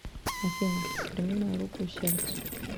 афина прими мою руку и сердце